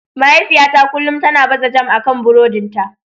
Mahaifiyata kullum tana baza jam akan buroɗin ta.